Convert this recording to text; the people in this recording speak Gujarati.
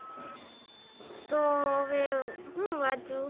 તો હું હવે હું વાંચું